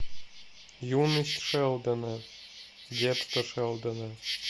юность шелдона детство шелдона